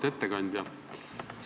Auväärt ettekandja!